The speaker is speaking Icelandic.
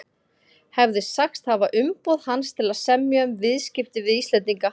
hefði sagst hafa umboð hans til að semja um viðskipti við Íslendinga.